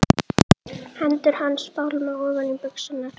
Hendur hans fálma ofan í buxurnar.